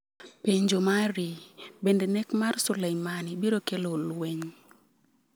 Penjo mari: Bende nek mar Soleimani biro kelo lweny?